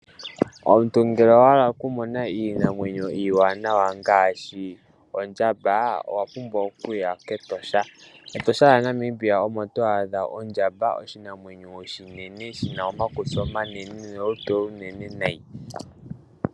Omuntu ngele owa hala oku mona iinamwenyo iiwanawa ngaashi ondjamba, owa pumbwa okuya kEtosha. Etosha lyaNamibia omo to adha ondjamba, oshinamwenyo oshinene, shina omakutsi omanene, nolutu olunene nayi.